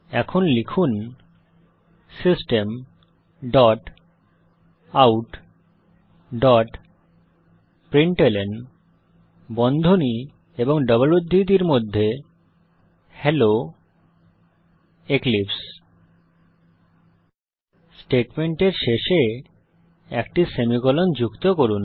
এখন লিখুন systemoutপ্রিন্টলন হেলো এক্লিপসে স্টেটমেন্টের শেষে একটি সেমিকোলন যুক্ত করুন